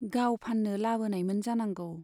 गाव फान्नो लाबोनायमोन जानांगौ।